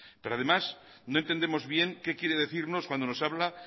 pero además no entendemos bien qué quiere decirnos cuando nos habla